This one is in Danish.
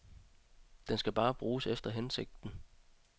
Den skal bare bruges efter hensigten.